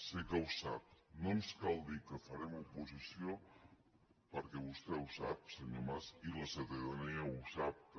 sé que ho sap no ens cal dir que farem oposició perquè vostè ho sap senyor mas i la ciutadania ho sap també